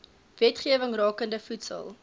wetgewing rakende voedsel